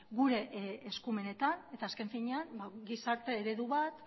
gure eskumenetan eta azken finean gizarte eredu bat